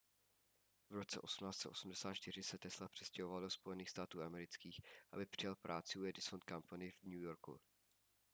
v roce 1884 se tesla přestěhoval do spojených států amerických aby přijal práci u edison company v new yorku